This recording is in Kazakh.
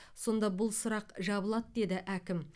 сонда бұл сұрақ жабылады деді әкім